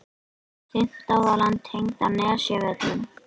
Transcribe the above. Fimmta holan tengd á Nesjavöllum.